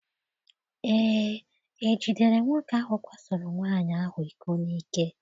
Eé, e jidere nwoke ahụ kwasoro nwaanyị ahụ iko n'ike.